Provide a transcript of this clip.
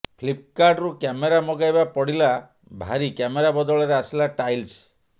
ଫ୍ଲିପକାର୍ଟରୁ କ୍ୟାମେରା ମଗେଇବା ପଡ଼ି଼ଲା ଭାରି କ୍ୟାମେରା ବଦଳରେ ଆସିଲା ଟାଇଲ୍ସ